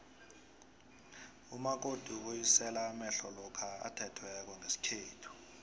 umakoti ubuyisela amehlo lokha athethweko ngesikhethu